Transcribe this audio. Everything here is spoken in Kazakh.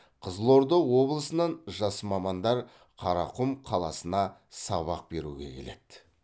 қызылорда облысынан жас мамандар қарақұм қаласына сабақ беруге келеді